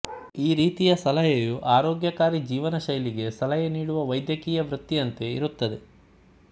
ಈ ರೀತಿಯ ಸಲಹೆಯು ಆರೋಗ್ಯಕಾರಿ ಜೀವನಶೈಲಿಗೆ ಸಲಹೆ ನೀಡುವ ವೈದ್ಯಕೀಯ ವೃತ್ತಿಯಂತೆ ಇರುತ್ತದೆ